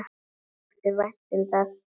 Þér þótti vænt um það.